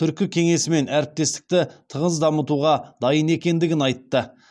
түркі кеңесімен әріптестікті тығыз дамытуға дайын екендігін айтты